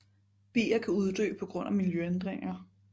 Bier kan uddø på grund af miljøændringer